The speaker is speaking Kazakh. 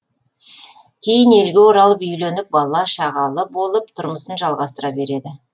кейін елге оралып үйленіп бала шағалы болып тұрмысын жалғастыра береді